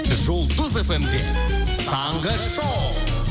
жұлдыз фм де таңғы шоу